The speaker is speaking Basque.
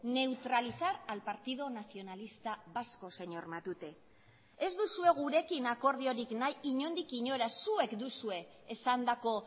neutralizar al partido nacionalista vasco señor matute ez duzue gurekin akordiorik nahi inondik inora zuek duzue esandako